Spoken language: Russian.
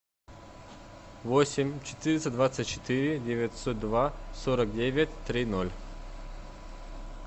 восемь четыреста двадцать четыре девятьсот два сорок девять три ноль